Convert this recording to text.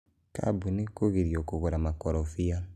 kambunĩ kugirio kugura makorobia.